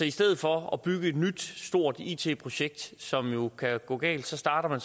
i stedet for at bygge et nyt stort it projekt som jo kan gå galt starter